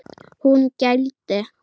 Hún gældi.